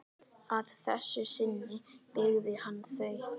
Að þessu sinni byggði hann þau.